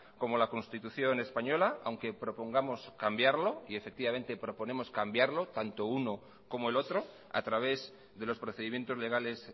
como la constitución española aunque propongamos cambiarlo y efectivamente proponemos cambiarlo tanto uno como el otro a través de los procedimientos legales